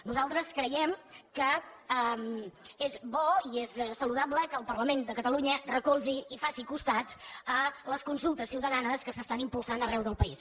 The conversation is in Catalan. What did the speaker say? nosaltres creiem que és bo i és saludable que el parlament de catalunya recolzi i faci costat a les consultes ciutadanes que s’estan impulsant arreu del país